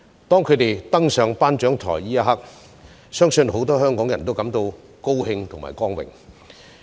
在他們登上頒獎台的一刻，相信很多香港人都感到高興和光榮。